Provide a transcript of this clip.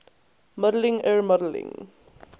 modeling er modeling